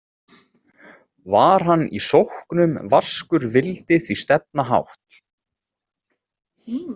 Var hann í sóknum vaskur vildi því stefna hátt.